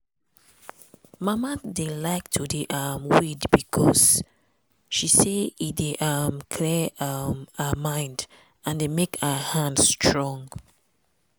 mama dey like to dey um weed becos she say e dey um clear um her mind and dey make her hand dey strong.